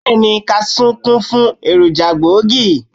Bẹ́ẹ̀ni, Kaṣú kún fún èròjà gbòógì.